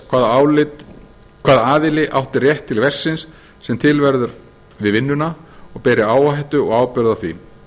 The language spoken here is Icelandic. hvaða aðili átti rétt til verksins sem til verður við vinnuna og beri áhættu og ábyrgð á því